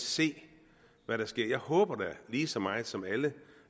se hvad der sker jeg håber da lige så meget som alle